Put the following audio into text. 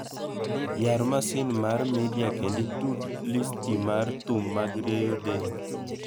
Yar masin mar midia kendo itud listi mar thum mag rieyo del